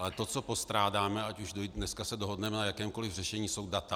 Ale to, co postrádáme, ať už se dneska dohodneme na jakémkoliv řešení, jsou data.